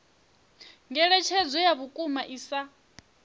ngeletshedzo ya vhukuma i sa